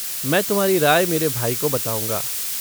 मैं तुम्हारी राय मेरे भाई को बताऊँगा।